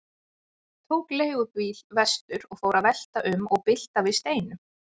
Tók leigubíl vestur og fór að velta um og bylta við steinum.